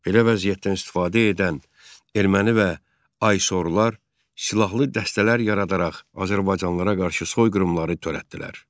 Belə vəziyyətdən istifadə edən erməni və Aysorlar silahlı dəstələr yaradaraq azərbaycanlılara qarşı soyqırımları törətdilər.